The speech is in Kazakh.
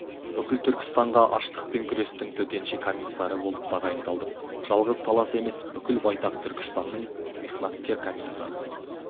бүкіл түркістанға аштықпен күрестің төтенше комиссары болып тағайындалдым жалғыз талас емес бүкіл байтақ түркістанның михнаткер комиссары